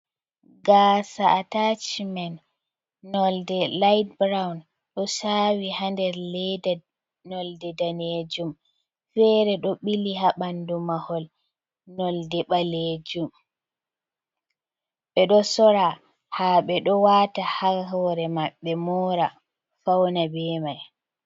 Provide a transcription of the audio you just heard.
Gasa ’atachmen nolde light brown do sawi hader leda nolde danejum, fere do ɓili ha bandu mahol nolde balejum be do sora ha be do wata hahore maɓɓe mora fauna bemai.